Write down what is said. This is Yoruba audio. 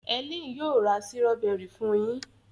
Helen yíò ra Sírọ́bẹ́rì fún yín.